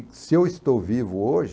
E se eu estou vivo hoje...